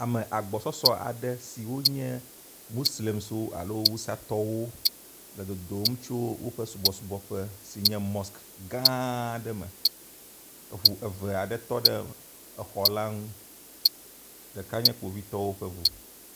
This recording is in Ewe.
Ame agbɔsɔsɔ aɖe siwo nye moslemtɔwo alo awusatɔwo le dodom ydo woƒe subɔsubɔƒe si nye mosque gã aɖe me. Eŋu eve aɖe tɔ ɖe mɔa nu. Ɖeka nye kpovitɔwo ƒe ŋu.